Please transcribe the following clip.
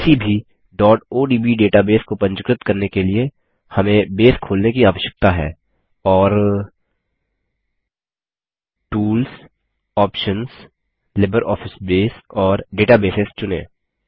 किसी भी odb database को पंजीकृत करने के लिए हमें बेस खोलने की आवश्यकता है और टूल्स आप्शंस लिब्रियोफिस बसे और डेटाबेस चुनें